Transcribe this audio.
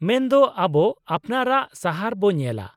-ᱢᱮᱱ ᱫᱚ, ᱟᱵᱚ ᱟᱯᱱᱟᱨᱟᱜ ᱥᱟᱦᱟᱨ ᱵᱚ ᱧᱮᱞᱟ ?